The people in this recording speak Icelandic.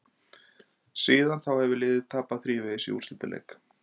Síðan þá hefur liðið tapað þrívegis í úrslitaleik.